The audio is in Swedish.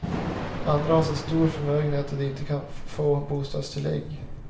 Andra har så stor förmögenhet att de inte kan få bostadstillägg.